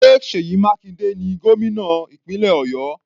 Ṣé Seyi Makinde ni gómìnà ìpínlẹ̀ Ọ̀yọ́?